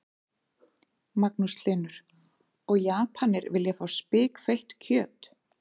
Magnús Hlynur: Og Japanir vilja fá spikfeitt kjöt?